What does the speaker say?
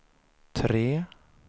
tre